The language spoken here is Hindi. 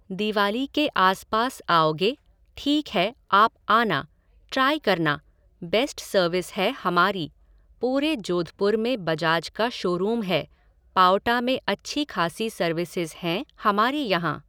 दिवाली के आस पास आओगे, ठीक है आप आना, ट्राई करना, बेस्ट सर्विस है हमारी, पूरे जोधपुर में बजाज का शोरूम है, पाओटा में अच्छी खासी सर्विसेज़ हैं हमारे यहाँ।